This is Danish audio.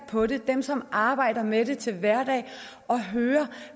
på det dem som arbejder med det til hverdag og høre